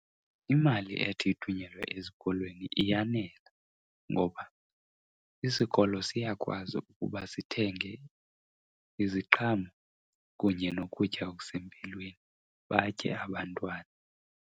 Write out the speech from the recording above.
Imali ethi ithunyelwe ezikolweni iyanela ngoba isikolo siyakwazi ukuba sithenge iziqhamo kunye nokutya okusempilweni batye abantwana.